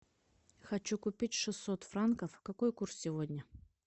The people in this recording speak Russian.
хочу купить шестьсот франков какой курс сегодня